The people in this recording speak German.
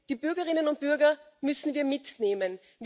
Denn die Bürgerinnen und Bürger müssen wir mitnehmen.